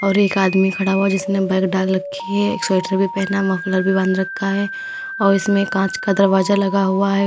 और एक आदमी खड़ा है जिसने बैग डाल रखी है एक स्वेटर भी पहना है मफलर भी बांध रखा है और इसमें कांच का दरवाजा लगा हुआ है।